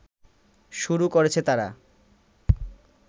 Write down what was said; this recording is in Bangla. শুরু করেছে তারা